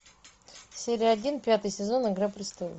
серия один пятый сезон игра престолов